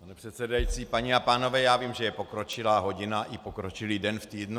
Pane předsedající, paní a pánové, já vím, že je pokročilá hodina i pokročilý den v týdnu.